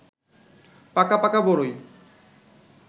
পাকা পাকা বড়ই